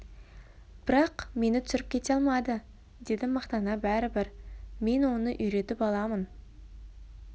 бірақ мені түсіріп кете алмады деді мақтана бәрібір мен оны үйретіп аламын